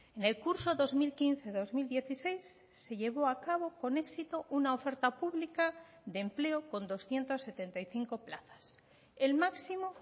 en el curso dos mil quince dos mil dieciséis se llevó a cabo con éxito una oferta pública de empleo con doscientos setenta y cinco plazas el máximo